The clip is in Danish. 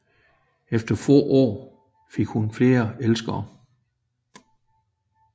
Efter få år fik hun flere elskere